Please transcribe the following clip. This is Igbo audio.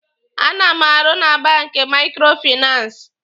A na m arụ na banki Maikrofinansi.